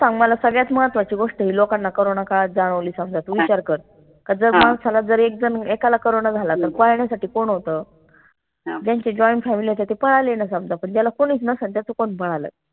सगळ्यात महत्वाची गोष्ट आय लोकांना corona काळात जाणवली समजा तू विचार कर का जर माणसाला जर एक झन एकाला corona झाला त पाहण्यासाठी कोण होत ज्यांचे joint family होते ते पळाले ना पन ज्याला कोणीच नसन त्याच कोन पळालंय